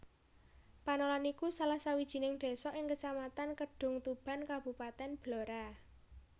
Panolan iku salah sawijining désa ing Kecamatan Kedungtuban Kabupatèn Blora